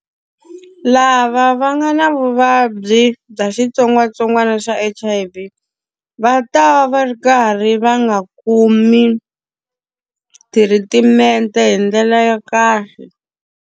Lava va nga na vuvabyi bya xitsongwatsongwana xa H_I_V va ta va ri karhi va nga kumi thiritimente hi ndlela ya kahle.